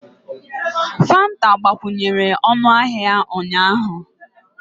Fanta agbakwunyere ọnụahịa ụnyaahụ